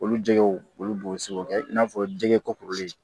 Olu jɛgɛw olu se k'o kɛ i n'a fɔ jɛgɛ ko kuruli